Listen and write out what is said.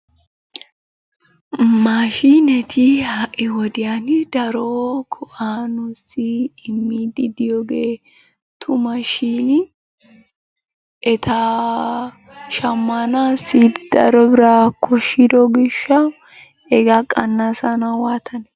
Maashiinetii ha"i wodiyani daro go'aa nuussi immiiddi diyogee tuma shiini eta shammanaassi daro biraa koshshido gishshawu hegaa qannasanawu waatanee?